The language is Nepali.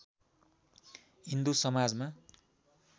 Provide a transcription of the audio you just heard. हिन्दू समाजमा